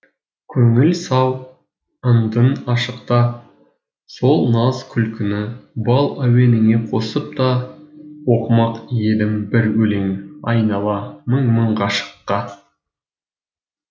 көңіл сау ындын ашықта сол наз күлкіні бал әуеніне қосып та оқымақ едім бір өлеңайнала мың мың ғашыққа